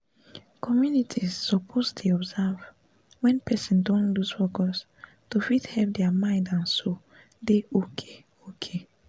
communities suppose dey observe wen person don loose focus to fit help dia mind and soul dey okay okay